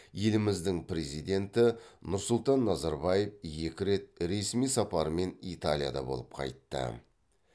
еліміздің президенті нұрсұлтан назарбаев екі рет ресми сапармен италияда болып қайтты